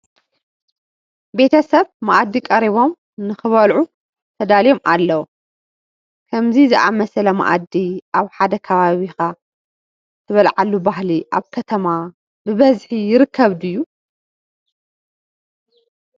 ቤተ ሰብ መኣዲ ቀሪቦም ንክበልዑ ተዳልዮም ኣለዉ፡፡ ከምዚ ዝኣምሰለ መኣዲ ኣብ ሓደ ከቢብካ ትበልዓሉ ባህሊ ኣብ ከተማ ብበዝሒ ይርከብ ድዩ?